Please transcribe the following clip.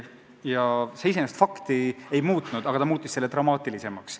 Iseenesest see fakti ei muutnud, aga pilt oli tehtud dramaatilisemaks.